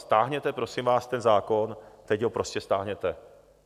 Stáhněte, prosím vás, ten zákon, teď ho prosím stáhněte.